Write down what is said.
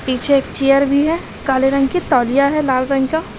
पीछे एक चेयर भी है काले रंग की तौलिया है लाल रंग का।